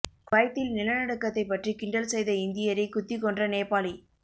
குவைத்தில் நிலநடுக்கத்தை பற்றி கிண்டல் செய்த இந்தியரை குத்திக் கொன்ற நேபாளி